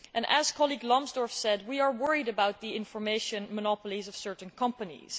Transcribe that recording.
As my colleague, Mr Lambsdorff said, we are worried about the information monopolies of certain companies.